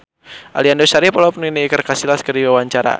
Aliando Syarif olohok ningali Iker Casillas keur diwawancara